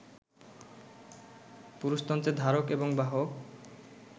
পুরুষতন্ত্রের ধারক এবং বাহক